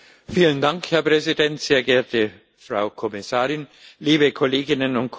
Herr Präsident, sehr geehrte Frau Kommissarin, liebe Kolleginnen und Kollegen!